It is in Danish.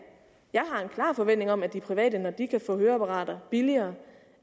har en klar forventning om at de private når de kan få høreapparater billigere